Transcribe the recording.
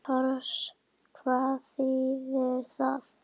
Tors. hvað þýðir það?